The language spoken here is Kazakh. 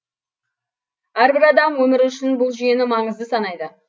әрбір адам өмірі үшін бұл жүйені маңызды санайды